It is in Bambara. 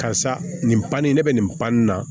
Karisa nin banni ne bɛ nin ban nin na